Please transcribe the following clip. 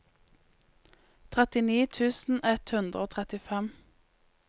trettini tusen ett hundre og trettifem